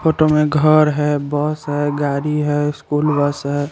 Photo में घर है बहोत सारी गारी है स्कूल बस है।